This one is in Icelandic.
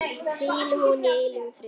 Hvíli hún í eilífum friði.